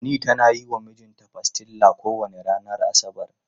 Tani tana yi wa mijinta pastilla kowane ranar asabar.